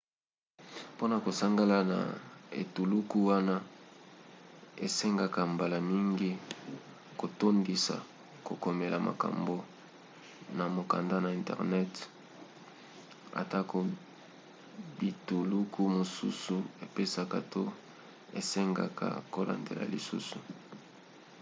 mpona kosangana na etuluku wana esengaka mbala mingi kotondisa kokomela makambo na mokanda na internet; atako bituluku mosusu epesaka to esengaka kolandela lisusu